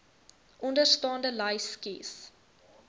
onderstaande lys kies